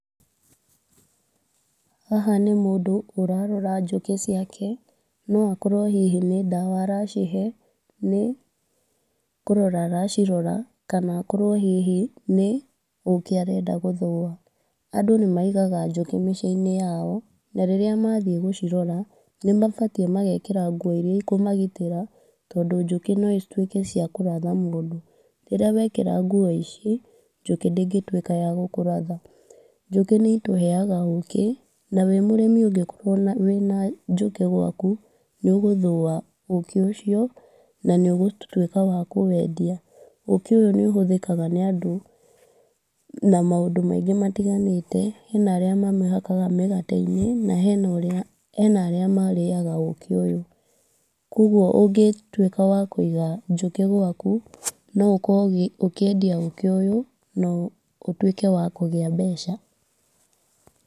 Haha nĩ mũndũ ũrarora njũkĩ ciake, nogũkorwo hihi nĩ ndawa aracihe nĩ kũrora aracirora kana akorwo hihi nĩ ũkĩ arenda gũthũa. Andũ nĩ maigaga njũkĩ mĩciĩ-inĩ yao na rĩrĩa mathiĩ gũcirora nĩ mabatiĩ magekĩra nguo iria ikũmagitĩra, tondũ njũkĩ no ituĩke ciakũratha mũndũ. Rĩrĩa wekĩra nguo ici, njũkĩ ndĩngĩtuĩka ya gũkũratha, njũkĩ nĩ itũheaga ũkĩ, na wĩmũrĩmi ũngĩkorwo wĩna njũkĩ gwaku nĩ ũgũthũa ũkĩ ũcio na nĩ ũgũtuĩka wa kũwendia. Ũkĩ ũyũ nĩ ũhũthĩkaga nĩ andũ na maũndũ maingĩ matiganĩte, hena arĩa mahakaga mĩgate-inĩ, na hena arĩa marĩaga ũkĩ ũyũ. Koguo ũngĩtuĩka wa kũiga njũkĩ gwaku no ũkorwo ũkĩendia ũkĩ ũyũ na ũtuĩke wa kũgĩa mbeca.